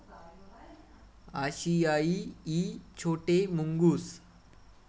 आशियाई इ छोटे मुंगूस